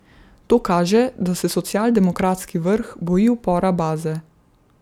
To kaže, da se socialdemokratski vrh boji upora baze.